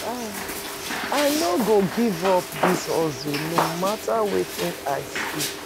I no go give up dis hustle no mata wetin I see.